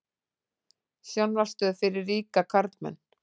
Sjónvarpsstöð fyrir ríka karlmenn